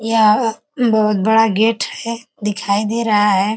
यहाँ बहुत बड़ा गेट है दिखाई दे रहा है।